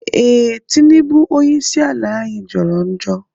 Ee, Tinibu onye isi ala anyi jọrọ njọ